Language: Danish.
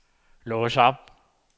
lås op